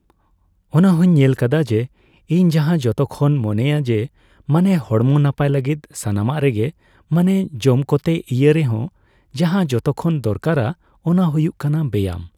ᱚᱱᱟ ᱦᱩᱸᱧ ᱧᱮᱞ ᱠᱟᱫᱟ ᱡᱮ, ᱤᱧ ᱡᱟᱦᱟ ᱡᱚᱛᱚᱠᱷᱚᱱ ᱢᱚᱱᱮᱭᱟ ᱡᱮ, ᱢᱟᱱᱮ ᱦᱚᱲᱢᱚ ᱱᱟᱯᱟᱭ ᱞᱟᱹᱜᱤᱫ ᱥᱟᱱᱟᱢᱟᱜ ᱨᱮ ᱜᱮ ᱢᱟᱱᱮ ᱡᱚᱢ ᱠᱚᱛᱮ ᱤᱭᱟᱹ ᱨᱮᱦᱚᱸ ᱡᱟᱦᱟ ᱡᱚᱛᱚᱠᱷᱚᱱ ᱫᱚᱨᱠᱟᱨᱟ ᱚᱱᱟ ᱦᱩᱭᱩᱜ ᱠᱟᱱᱟ ᱵᱮᱭᱟᱢ᱾